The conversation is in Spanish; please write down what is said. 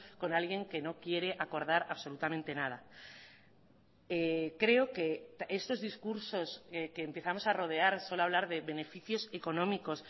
con alguien que no quiere acordar absolutamente nada creo que estos discursos que empezamos a rodear solo hablar de beneficios económicos